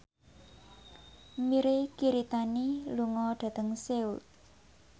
Mirei Kiritani lunga dhateng Seoul